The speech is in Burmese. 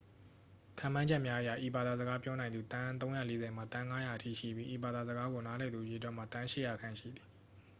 ခန့်မှန်းချက်များအရ ဤဘာသာစကားပြောနိုင်သူ သန်း 340 မှ သန်း 500 အထိရှိပြီး ဤဘာသာစကားကို နားလည်သူအရေအတွက်မှာ သန်း 800 ခန့် ရှိသည်